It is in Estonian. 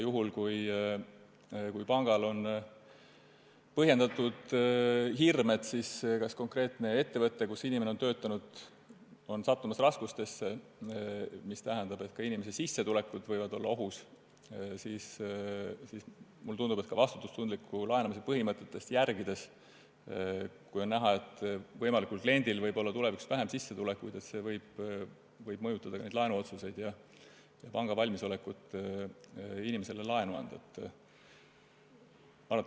Juhul, kui pangal on põhjendatud hirm, et ettevõte, kus inimene töötab, on sattumas raskustesse, mis tähendab, et inimese sissetulek võib olla ohus, siis mulle tundub, et ka vastutustundliku laenamise põhimõtted – kui on ikka näha, et võimalikul kliendil võib olla tulevikus vähem sissetulekuid – võivad mõjutada laenuotsust ja panga valmisolekut inimesele laenu anda.